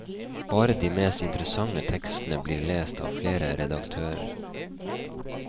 Bare de mest interessante tekstene blir lest av flere redaktører.